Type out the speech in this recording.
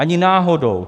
Ani náhodou.